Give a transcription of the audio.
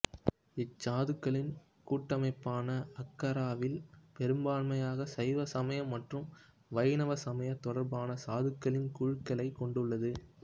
இச்சாதுக்களின் கூட்டமைபான அக்காராவில் பெரும்பான்மையாக சைவ சமயம் மற்றும் வைணவ சமயம் தொடர்பான சாதுக்களின் குழுக்களை கொண்டுள்ளது